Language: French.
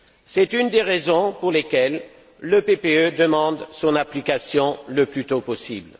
C'est une des raisons pour lesquelles le PPE demande son application le plus tôt possible.